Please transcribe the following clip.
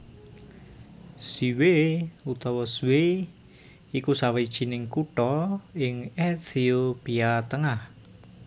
Ziway utawa Zway iku sawijining kutha ing Ethiopia tengah